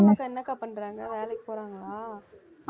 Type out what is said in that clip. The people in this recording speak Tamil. கற்பகம் அக்கா என்ன அக்கா பண்றாங்க வேலைக்கு போறாங்களா